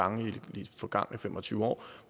gange i de forgangne fem og tyve år